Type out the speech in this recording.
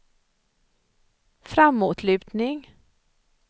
framåtlutning